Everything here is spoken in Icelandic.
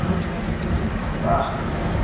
Lífið er leikur að orðum.